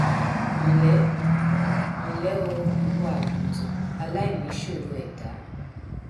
nlẹ nlẹ o ìwọ àgùntàn aláìníṣòro ẹdá